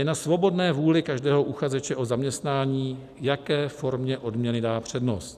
Je na svobodné vůli každého uchazeče o zaměstnání, jaké formě odměny dá přednost.